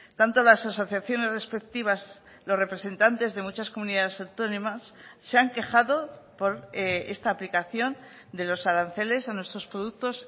tanto las asociaciones respectivas los representantes de muchas comunidades autónomas se han quejado por esta aplicación de los aranceles a nuestros productos